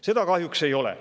Seda kahjuks ei ole.